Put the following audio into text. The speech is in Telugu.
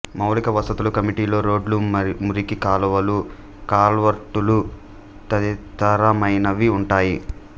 మౌలిక వసతుల కమిటీలో రోడ్లు మురికి కాలువలు కల్వర్టులు తదితరమైనవి ఉంటాయి